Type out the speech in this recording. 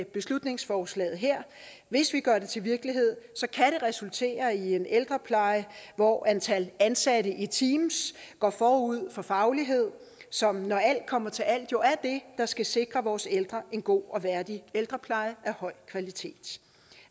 beslutningsforslaget her hvis vi gør det til virkelighed kan resultere i en ældrepleje hvor antal ansatte i teams går forud for faglighed som når alt kommer til alt jo er det der skal sikre vores ældre en god og værdig ældrepleje af høj kvalitet